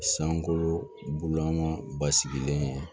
Sankolo bulaman basigilen